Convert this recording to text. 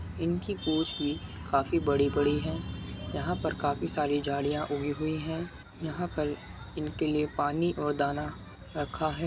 इनकी पूछ भी काफी बड़ी बड़ी है यहाँ पर काफी सारी झाड़िया उगी हुई है यहाँ पर इनके लिए पानी और दाना रखा है।